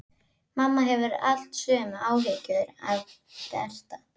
Mamma hefur alltaf sömu áhyggjurnar af Berta.